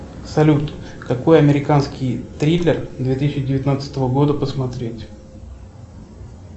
салют какой американский триллер две тысячи девятнадцатого года посмотреть